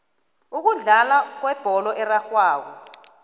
ukudlalwa kwebholo erarhwako